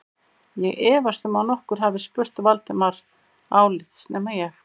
Ég efast um að nokkur hafi spurt Valdimar álits nema ég